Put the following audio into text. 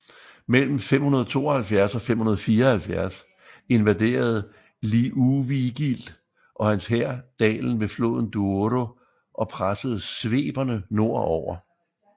Mellem 572 og 574 invaderede Liuvigild og hans hær dalen ved floden Douro og pressede sveberne nord over